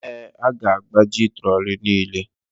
Ee, a ga-agbaji trolley niile.